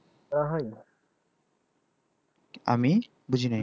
আমি বুঝিনি